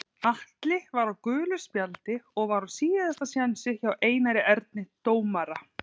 Atli var á gulu spjaldi og var á síðasta séns hjá Einari Erni dómara.